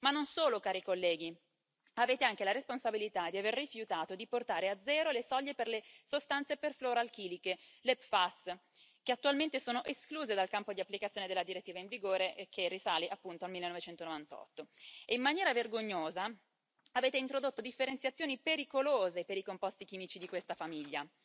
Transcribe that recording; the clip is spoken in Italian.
Ma non solo, cari colleghi avete anche la responsabilità di aver rifiutato di portare a zero le soglie per le sostanze perfluoralchiliche, le PFAS, che attualmente sono escluse dal campo di applicazione della direttiva in vigore, che risale appunto al 1998. E, in maniera vergognosa, avete introdotto differenziazioni pericolose per i composti chimici di questa famiglia,